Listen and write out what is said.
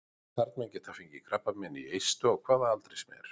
Karlmenn geta fengið krabbamein í eistu á hvaða aldri sem er.